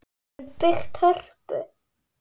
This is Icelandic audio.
Við höfum byggt Hörpu.